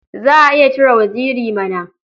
Za a iya cire waziri mana.